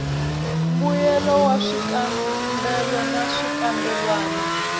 mbuyelo wa swikambelo na swikambelwana